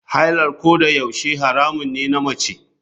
Haila kodayaushe haramun ne na mace.